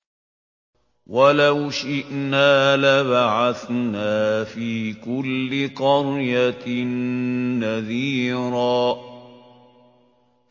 وَلَوْ شِئْنَا لَبَعَثْنَا فِي كُلِّ قَرْيَةٍ نَّذِيرًا